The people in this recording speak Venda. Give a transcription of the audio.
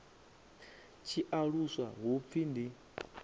tshi aluswa hu pfi ndi